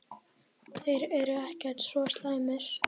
Þeir eru ekkert svo slæmir.